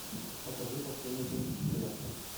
покажи последний кинофестиваль